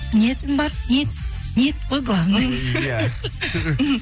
ниетім бар ниет қой главный иә мхм